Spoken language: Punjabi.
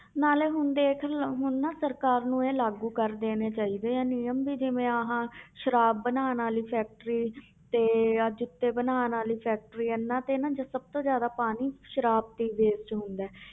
ਨਾਲੇ ਹੁਣ ਦੇਖ ਹੁਣ ਨਾ ਸਰਕਾਰ ਨੂੰ ਇਹ ਲਾਗੂ ਕਰ ਦੇਣੇ ਚਾਹੀਦੇ ਆ ਨਿਯਮ ਵੀ ਜਿਵੇਂ ਆਹ ਸਰਾਬ ਬਣਾਉਣ ਵਾਲੀ factory ਤੇ ਆਹ ਜੁੱਤੇ ਬਣਾਉਣ ਵਾਲੀ factory ਇਹਨਾਂ ਤੇ ਨਾ ਜੋ ਸਭ ਤੋਂ ਜ਼ਿਆਦਾ ਪਾਣੀ ਸਰਾਬ ਤੇ ਹੀ waste ਹੁੰਦਾ ਹੈ।